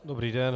Dobrý den.